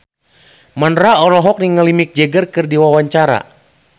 Mandra olohok ningali Mick Jagger keur diwawancara